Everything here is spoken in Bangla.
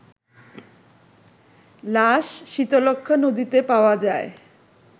লাশ শীতলক্ষ্যা নদীতে পাওয়া যায়